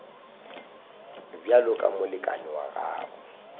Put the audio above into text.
bjalo ka molekane wa gago